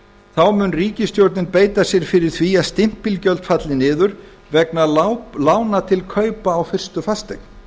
þá mun ríkisstjórnin beita sér fyrir því að stimpilgjöld falli niður vegna lána til kaupa á fyrstu fasteign